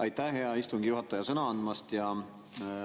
Aitäh, hea istungi juhataja, sõna andmast!